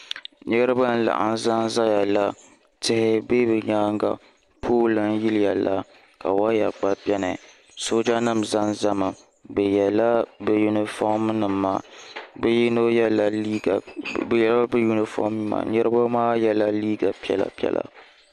Niriba n-laɣim zanzaya la tihi be bɛ nyaaŋa pooli n-yiliya la ka waya gba beni soojanima zanzami bɛ yela bɛ yunifomnima niriba maa yela liiga piɛla piɛla.